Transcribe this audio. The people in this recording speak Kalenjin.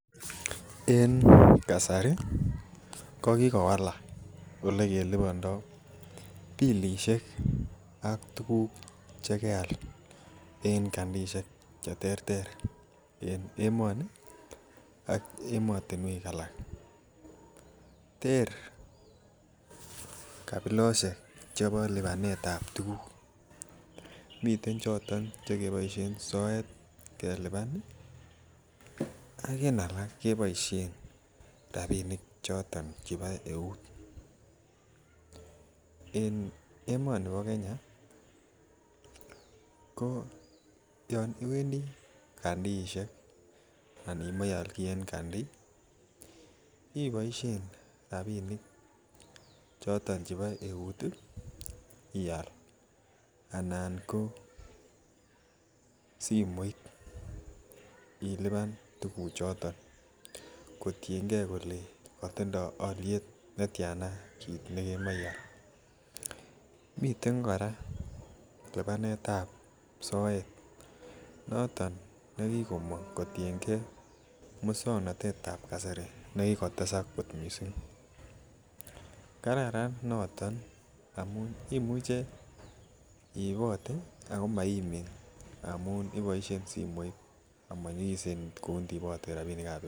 En kasari kokikowalak olekelibando pilisiek. Ak tuguk chekeal, en kandiisiek cheterter an emoni ak emotinuek alak. Ter libanosiek chebo libaneetab tuguk miten cheboisien soet ih ak en alak keboisien rabinik cheto chebo euut. En emoni bo Kenya ih ok Yoon iwendii kandiisiek anan imae ialki en Kandi ibaishen rabinik choton chebo eut ih , ial anan ko simoit, iluban tuguchuton, kotienge kole Tiana kit nekemache ial, miten kora libanetab soet , noton nekikomang kotienge musuaknotetab kasari. Negikotesak kot missing. Kararan noton amuun imuche iibote ako maimin ngamun iboishen simoit ngamun manyikisen ndiibate kou rabinikab eut.